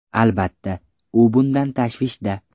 Albatta, u bundan tashvishda.